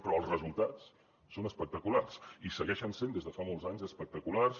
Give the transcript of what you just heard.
però els resultats són espectaculars i segueixen sent des de fa molts anys espectaculars